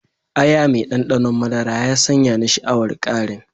Aya mai ɗanɗanon madara ya sanya ni sha'awar ƙarin.